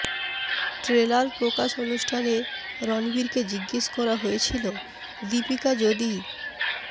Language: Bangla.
ট্রেলার প্রকাশ অনুষ্ঠানে রণবীরকে জিজ্ঞেস করা হয়েছিলো দীপিকা যদি